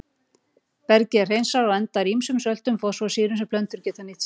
Bergið er hreinsað og endar í ýmsum söltum fosfórsýru sem plöntur geta nýtt sér.